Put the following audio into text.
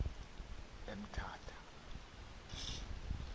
emtata